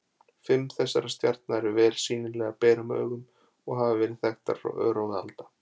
Fimm þessara stjarna eru vel sýnilegar berum augum og hafa verið þekktar frá örófi alda.